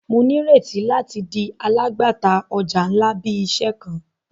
Mo nireti lati di alagbata ọja nla bi iṣẹ kan.